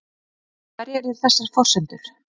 En hverjar eru þessar forsendur?